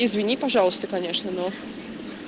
извини пожалуйста конечно но